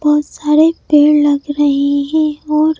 बहुत सारे पेड़ लग रहे हैं और--